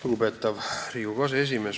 Lugupeetav Riigikogu aseesimees!